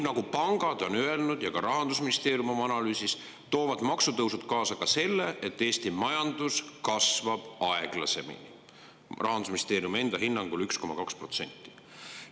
Nagu on öelnud pangad ja ka Rahandusministeerium oma analüüsis, toovad maksutõusud kaasa selle, et Eesti majandus kasvab aeglasemini, Rahandusministeeriumi enda hinnangul 1,2%.